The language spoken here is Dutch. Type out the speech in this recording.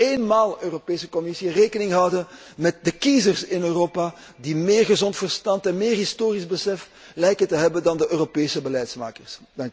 Laten wij eens voor eenmaal, Europese Commissie, rekening houden met de kiezers in Europa die meer gezond verstand en meer historisch besef lijken te hebben dan de Europese beleidsmakers.